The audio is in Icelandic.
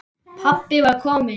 Pabbi var kominn.